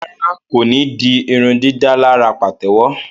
Rárá, ko ní dì irundidalara patewo